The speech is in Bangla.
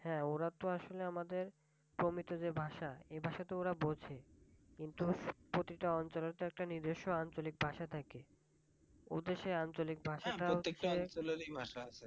হ্যাঁ ওরা তো আসলে আমাদের প্রমিত যে ভাষা এই ভাষাতো ওরা বুঝে। কিন্তু প্রতিটা অঞ্চলের তো একটা নির্দিষ্ট আঞ্চলিক ভাষা থাকে। ওদের সেই আঞ্চলিক ভাষাটা